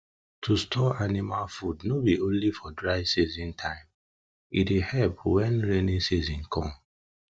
to store store anima food no bi only for dry season time e dey help wen raining season come